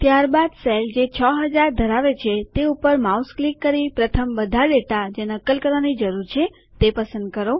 ત્યારબાદ કોષ જે ૬૦૦૦ ધરાવે છે તે ઉપર માઉસ ક્લિક કરી પ્રથમ બધા ડેટા જે નકલ કરવાની જરૂર છે પસંદ કરો